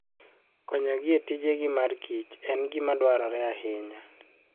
Konyogi e tijgi mar kich en gima dwarore ahinya.